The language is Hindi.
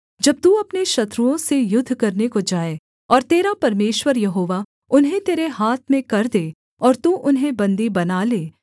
जब तू अपने शत्रुओं से युद्ध करने को जाए और तेरा परमेश्वर यहोवा उन्हें तेरे हाथ में कर दे और तू उन्हें बन्दी बना ले